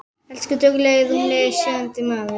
Elsku duglegi rúmlega sjötugi maður.